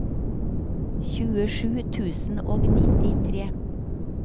tjuesju tusen og nittitre